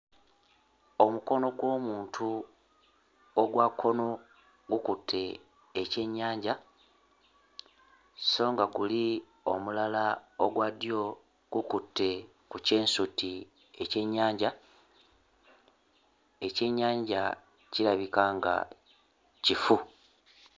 Omukono gw'omuntu ogwa kkono gukkutte ekyennyanja, so nga guli omulala ogwa ddyo gukutte ku kyensuti ekyennyanja. Ekyennyanja kirabika nga kifu.